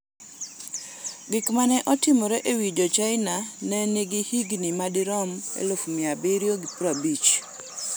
Gik ma ne otimre e wi Jo-China ne nigi higni madirom 750,000.